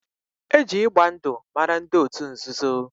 Eji ịgba ndụ mara ndị otu nzuzo